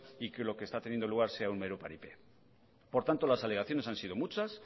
y que lo que está teniendo lugar sea un mero paripé por tanto las alegaciones han sido muchas